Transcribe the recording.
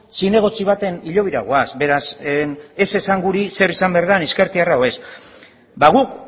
zinegotzi baten hilobira goaz beraz ez esan guri zer izan behar den ezkertiarra edo ez guk